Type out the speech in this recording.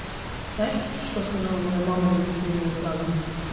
знаешь что что сказала моя мама на такую фразу